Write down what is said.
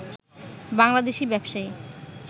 বাংলাদেশী ব্যবসায়ী